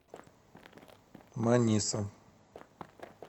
маниса